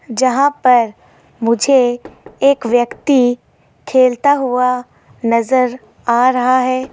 जहां पर मुझे एक व्यक्ति खेलता हुआ नजर आ रहा है।